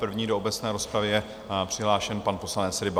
První do obecné rozpravy je přihlášen pan poslanec Ryba.